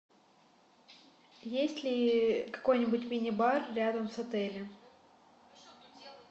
есть ли какой нибудь мини бар рядом с отелем